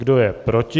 Kdo je proti?